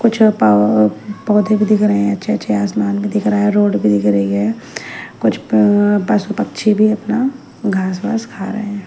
कुछ अ पा अ पौधे भी दिख रहे है अच्छे-अच्छे आसमान भी दिख रहा है रोड भी दिख रही है कुछ प अ पशु पक्षी भी अपना घास वास खा रहे हैं।